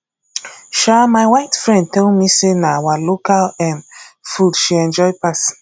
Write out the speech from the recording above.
um my white friend tell me say na our local um food she enjoy pass